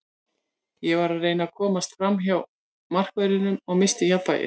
Ég var að reyna að komast framhjá markverðinum, ég missti jafnvægið.